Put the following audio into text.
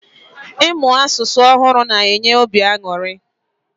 Ịmụ asụsụ ọhụrụ na enye obi aṅụrị